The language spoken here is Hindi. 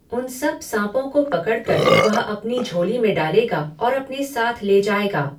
उन सब साँपों को पकडकर वह अपनी झोली में डालेगा और अपने साथ ले जाएगा।